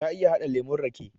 Ta iya haɗa lemon rake